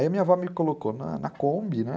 Aí a minha avó me colocou na Kombi, né?